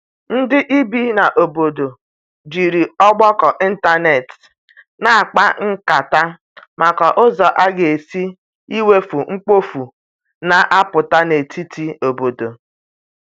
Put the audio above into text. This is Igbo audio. ndi ibi na obodo jiri ọgbako ịntanetị na akpa nkata maka ụzọ aga esi iwepụ mkpofu na aputa n'etiti obodo